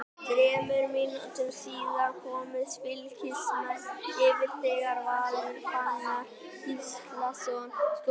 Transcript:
Þremur mínútum síðar komust Fylkismenn yfir þegar Valur Fannar Gíslason skoraði.